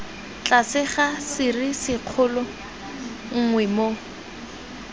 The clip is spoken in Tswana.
tlase ga serisikgolo nngwe moo